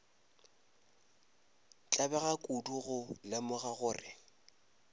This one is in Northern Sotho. tlabega kudu go lemoga gore